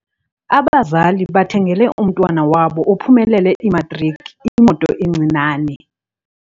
Abazali bathengele umntwana wabo ophumelele imatriki imoto encinane.